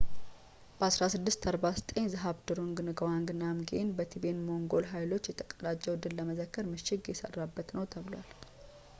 በ 1649 ዝሃብድሩንግ ንጋዋንግ ናምግዬል በቲቤታን-ሞንጎል ኃይሎች ላይ የተቀዳጀውን ድል ለመዘከር ምሽግ የሰራበት ነው ተብሏል